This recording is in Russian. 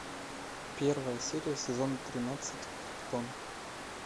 первая серия сезон тринадцать криптон